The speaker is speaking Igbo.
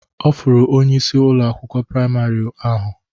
Ọ fụrụ onyeisi Ụlọ akwụkwọ praịmarị ahụ.